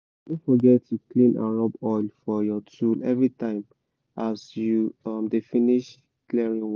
no forget to clean and rub oil for your tool everytime as you dey finish clearing work